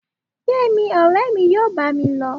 gbemí, ọrẹ mí yóò bá mí lo